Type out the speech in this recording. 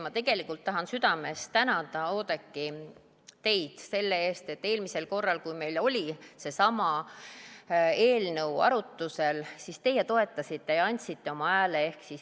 Ma tegelikult tahan südamest tänada, Oudekki, teid selle eest, et eelmisel korral, kui meil oli seesama eelnõu arutusel, siis teie toetasite ja andsite oma hääle.